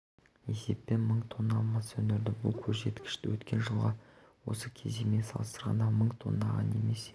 есеппен мың тонна мыс өндірді бұл көрсеткіш өткен жылғы осы кезеңмен салыстырғанда мың тоннаға немесе